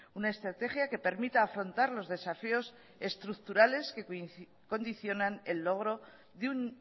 una estrategia que permita afrontar los desafíos estructurales que condicionan el logro de un